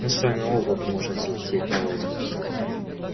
мы с вами оба можем взлететь на воздух